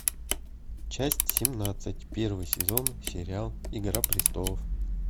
часть семнадцать первый сезон сериал игра престолов